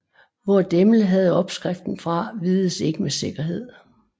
Hvor Demel havde opskriften fra vides ikke med sikkerhed